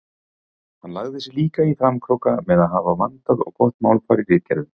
Hann lagði sig líka í framkróka með að hafa vandað og gott málfar í ritgerðunum.